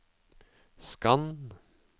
skann